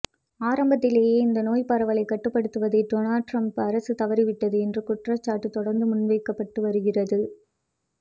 ஆரம்பத்திலேயே இந்த நோய் பரவலை கட்டுப்படுத்துவதில் டொனால்ட் ட்ரம்ப் அரசு தவறிவிட்டது என்ற குற்றச்சாட்டு தொடர்ந்து முன்வைக்கப்பட்டு வருகிறது